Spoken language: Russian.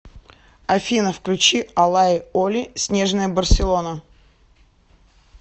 афина включи алай оли снежная барселона